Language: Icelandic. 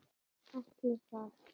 Ætli það?